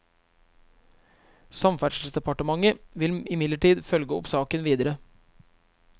Samferdselsdepartementet vil imidlertid følge opp saken videre.